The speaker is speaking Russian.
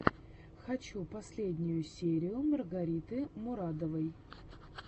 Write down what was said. хочу последнюю серию маргариты мурадовой